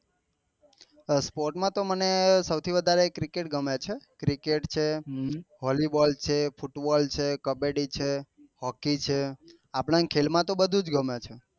sport માં તો સાવ થી વધારે મને ક્રિકેટ ગમે છે ક્રિકેટ છે વોલી બોલ છે ફૂટ બોલ છે કબડ્ડી છે હોકી છે આપડા ને ખેલ માં તો બધું ગમે છે